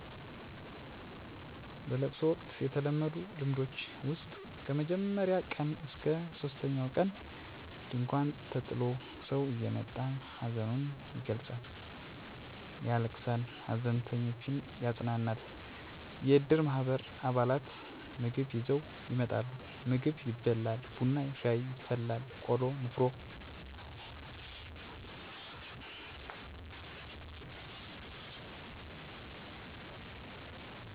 በለቅሶ ወቅት የተለመዱ ልምዶች ውስጥ ከመጀመሪያው ቀን እስከ ሶስተኛው ቀን ድንኳን ተጥሎ ሰው እየመጣ ሀዘኑን ይገልፃል ያለቅሳል ሃዘንተኞችን ያፅናናል። የእድር ማህበር አባላት ምግብ ይዘው ይመጣሉ ምግብ ይበላል ቡና ሻይ ይፈላል ቆሎ ንፍሮ የተለያዩ ነገሮች ይቀርባሉ። የሀይማኖት አባቶች እየመጡ ትምህርት ያስተምራሉ ያፅናናሉ ፀሎት ያደርጋሉ። ወጣቶች የተለያዩ ጨዋታዎችን ይጫወታሉ ለምሳሌ ካርታ እየተጫወቱ ሃዘንተኛውን ያፅናናሉ።